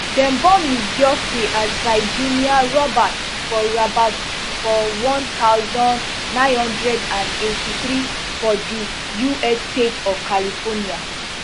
dem born ms giuffre as virginia roberts for roberts for one thousand, nine hundred and eighty-three for di us state of california